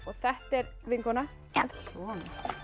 þetta er vinkona já